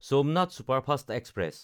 Somnath superfast express